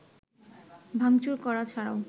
ভাঙচুর করা ছাড়াও